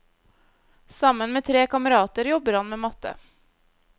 Sammen med tre kamerater jobber han med matte.